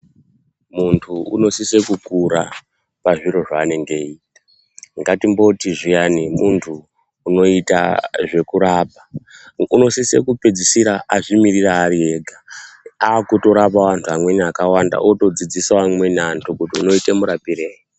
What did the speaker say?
Muntu unosise kukura pazviro zvaanenge eiita. Ngatimboti zviyani muntu unoita zvekurapa, unosise kupedzisira azvimiririra ari ega, akutorapawo antu amweni akawanda otodzidzisawo amweni antu kuti unoite murapirei.